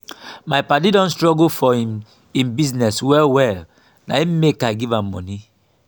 my paddy don struggle for im im business well-well na im make i give am moni.